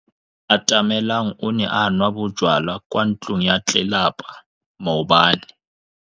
Atamelang o ne a nwa bojwala kwa ntlong ya tlelapa maobane.